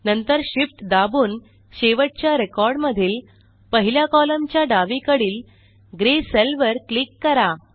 नंतर Shift दाबून शेवटच्या रेकॉर्डमधील पहिल्या कॉलमच्या डावीकडील ग्रे सेल वर क्लिक करा